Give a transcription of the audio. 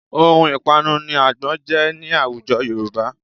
Ohun ìpanu ni àgbọn jẹ́ ní àwùjọ Yorùbá